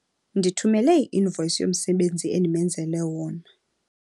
Ndithumele i-invoyisi yomsebenzi endimenzele wona.